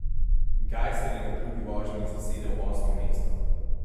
Gajser je na drugi vožnji zasedel osmo mesto.